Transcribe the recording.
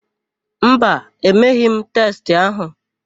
Mba, emeghị m testị ahụ.